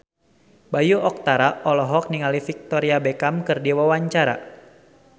Bayu Octara olohok ningali Victoria Beckham keur diwawancara